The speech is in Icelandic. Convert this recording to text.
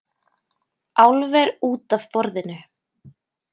Álver út af borðinu